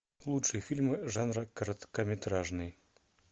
лучшие фильмы жанра короткометражный